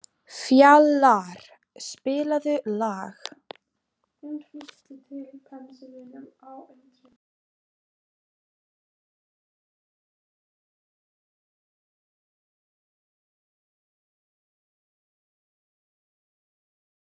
Hann ferðaðist um héraðið en starfaði lítið sem ekki neitt.